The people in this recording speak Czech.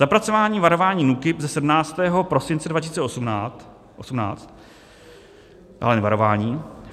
Zapracování varování NÚKIB ze 17. prosince 2018, dále jen varování.